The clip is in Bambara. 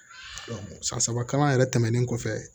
san saba kalan yɛrɛ tɛmɛnen kɔfɛ